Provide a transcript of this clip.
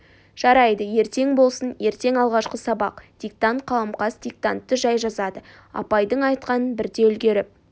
жарайды ертең болсын ертең алғашқы сабақ диктант қаламқас диктантты жай жазады апайдың айтқанын бірде үлгеріп